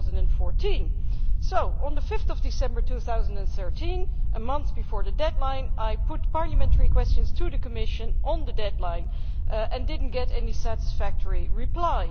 2014. So, on 5 December 2013 a month before the deadline I put parliamentary questions to the Commission regarding the deadline and did not get any satisfactory reply.